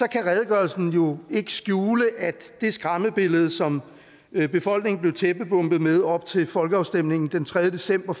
kan redegørelsen jo ikke skjule at det skræmmebillede som befolkningen blev tæppebombet med op til folkeafstemningen den tredje december